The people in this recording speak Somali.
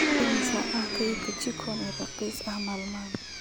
Imisa ayaa ah kaydka chikon ee raqiis ah maalmahan?